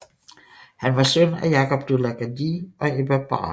Han var søn af Jakob De la Gardie og Ebba Brahe